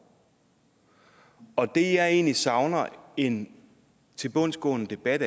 og det jeg egentlig savner en tilbundsgående debat